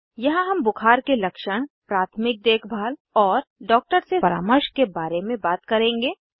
यहाँ हम बुखार के लक्षण प्राथमिक देखभाल और डॉक्टर से परामर्श के बारे में बात करेंगे